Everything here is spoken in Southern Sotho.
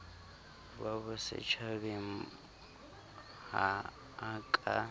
ba bosetjhabeng ha a ka